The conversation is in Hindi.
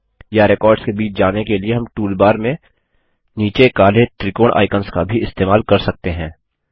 या रेकॉर्ड्स के बीच जाने के लिए हम टूलबार में नीचे काले त्रिकोण आइकंस का भी इस्तेमाल कर सकते हैं